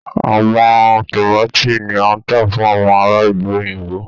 Àwọn tomaati ní a ta fún àwọn ará ìlú òyìnbó.